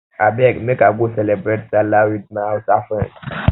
abeg make i go cerebrate sallah wit um my hausa friends